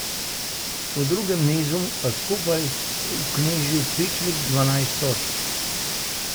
V drugem nizu je skupaj vknjižil pičlih dvanajst točk.